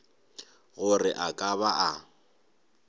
gore a ka ba a